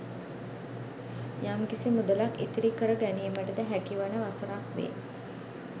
යම් කිසි මුදලක් ඉතිරි කර ගැනීමට ද හැකි වන වසරක් වේ.